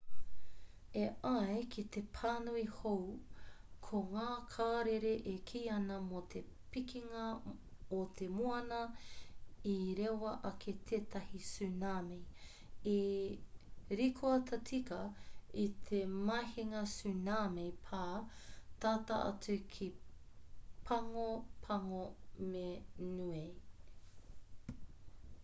e ai ki te pānui hou ko ngā karere e kī ana mō te pikinga o te moana i rewa ake tētahi tsunami i rikoata tika i te mahinga tsunami pā tata atu ki pago pago me niue